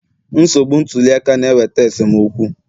Nsogbu ntuli aka na-eweta esemokwu